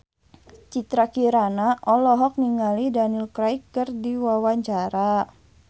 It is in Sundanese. Citra Kirana olohok ningali Daniel Craig keur diwawancara